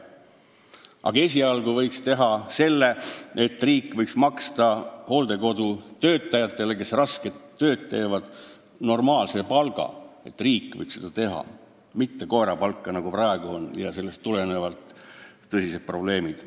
Aga esialgu võiks riik maksta hooldekodutöötajatele, kes rasket tööd teevad, normaalset palka, riik võiks seda teha, nii et nad ei saaks mitte koerapalka, nagu praegu on, sellest tulenevad tõsised probleemid.